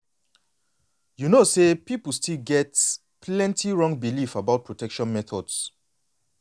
you know say people still get plenty wrong belief about protection methods.